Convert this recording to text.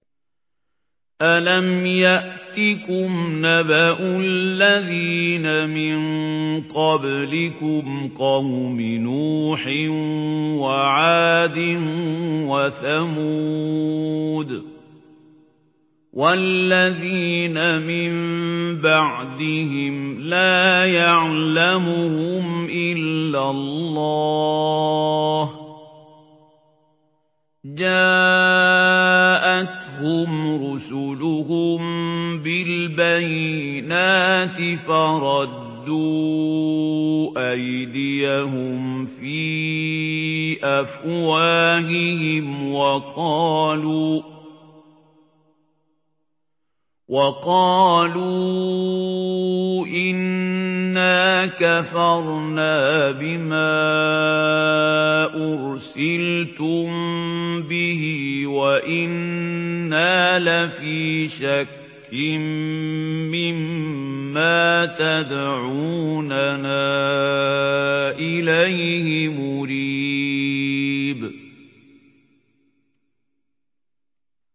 أَلَمْ يَأْتِكُمْ نَبَأُ الَّذِينَ مِن قَبْلِكُمْ قَوْمِ نُوحٍ وَعَادٍ وَثَمُودَ ۛ وَالَّذِينَ مِن بَعْدِهِمْ ۛ لَا يَعْلَمُهُمْ إِلَّا اللَّهُ ۚ جَاءَتْهُمْ رُسُلُهُم بِالْبَيِّنَاتِ فَرَدُّوا أَيْدِيَهُمْ فِي أَفْوَاهِهِمْ وَقَالُوا إِنَّا كَفَرْنَا بِمَا أُرْسِلْتُم بِهِ وَإِنَّا لَفِي شَكٍّ مِّمَّا تَدْعُونَنَا إِلَيْهِ مُرِيبٍ